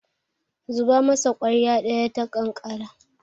zuba masa kwarya daya ta kankana